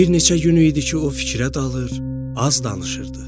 Bir neçə gün idi ki, o fikrə dalır, az danışırdı.